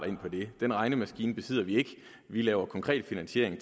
ind på det den regnemaskine besidder vi ikke vi laver konkret finansiering